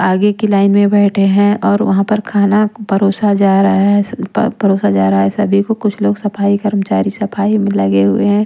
आगे की लाइन में बैठे हैं और वहाँ पर खाना परोसा जा रहा है परोसा जा रहा है सभी को कुछ लोग सफाई कर्मचारी सफाई में लगे हुए हैं।